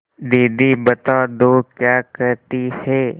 दीदी बता दो क्या कहती हैं